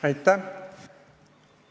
Aitäh!